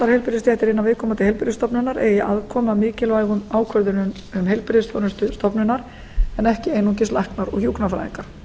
heilbrigðisstéttir innan viðkomandi heilbrigðisstofnunar eigi aðkomu að mikilvægum ákvörðunum um heilbrigðisþjónustu stofnunar en ekki einungis læknar og hjúkrunarfræðingar